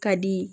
Ka di